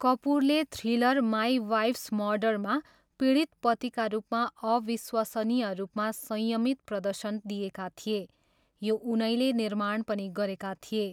कपुरले thriller my wife's मर्डरमा पीडित पतिका रूपमा अविश्वसनीय रूपमा संयमित प्रदर्शन दिएका थिए, यो उनैले निर्माण पनि गरेका थिए।